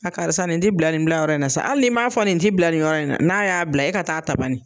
A karisa nin t'i bila nin bilayɔrɔ in na sa hali n'i m'a fɔ nin ti bila nin yɔrɔ in, n'a y'a bila e ka taa a ta banni.